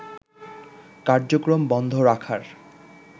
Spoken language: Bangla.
কার্যক্রম বন্ধ রাখার